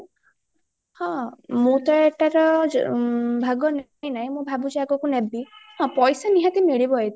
ହଁ ମୁଁ ତ ଏଟାର ଭାଗ ନେଇନାଇଁ ମୁଁ ଭାବୁଚି ଆଗକୁ ନେବି ହଁ ପଇସା ନିହାତି ମିଳିବ ଏଥିରେ